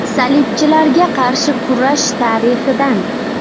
Salibchilarga qarshi kurash tarixidan.